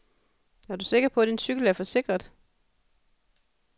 Er du sikker på, din cykel er forsikret?